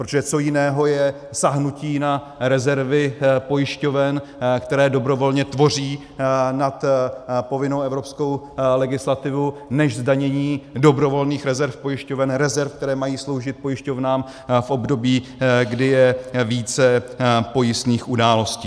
Protože co jiného je sáhnutí na rezervy pojišťoven, které dobrovolně tvoří nad povinnou evropskou legislativu, než zdanění dobrovolných rezerv pojišťoven, rezerv, které mají sloužit pojišťovnám v období, kdy je více pojistných událostí.